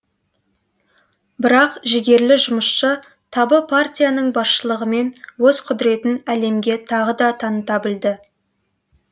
бірақ жігерлі жұмысшы табы партияның басшылығымен өз құдіретін әлемге тағы да таныта білді